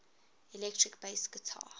electric bass guitar